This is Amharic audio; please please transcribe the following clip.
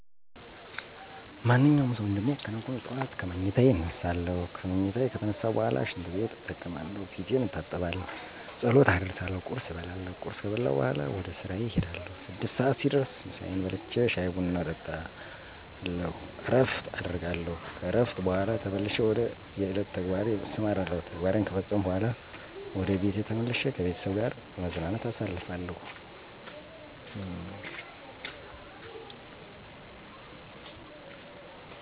ማንኛውም ሰው እንደሚከናውነው ጠዋት ከምኝታየ እነሳለሁ። ከምኝታየ ከተነሳሁ በኋላ ሽንትቤት እጠቀማለሁ፣ ፊቴን እታጠባለሁ፣ ጸሎት አደርሳለሁ፣ ቁርስ እበላለሁ። ቁርስ ከበላሁ በኋላ ወደ ስራየ እሄዳለሁ። ስድስት ሰዓት ሲደርስ ምሳየን በልቼ ሻይ ቡና እየጠጣሁ እረፍት አደርጋለሁ። ከእረፍት በኋላ ተመልሼ ወደ የዕለቱ ተግባሬ እሰማራለሁ። ተግባሬ ከፈፀመኩ በኋላ ወደ ቤቴ ተመልሼ ከቤተሰብ ጋር በመዝናናት አሳልፋለሁ።